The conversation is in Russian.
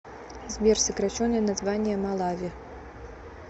сбер сокращенное название малави